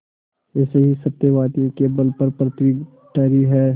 ऐसे ही सत्यवादियों के बल पर पृथ्वी ठहरी है